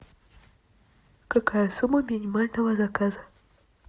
какая сумма минимального заказа